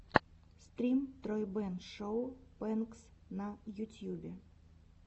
стрим тройбэн шоу прэнкс на ютьюбе